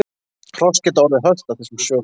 Hross geta orðið hölt af þessum sökum.